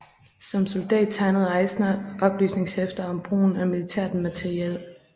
Som soldat tegnede Eisner oplysningshæfter om brugen af militært materiel